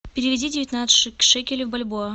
переведи девятнадцать шекелей в бальбоа